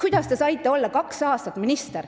Kuidas te saite olla kaks aastat minister,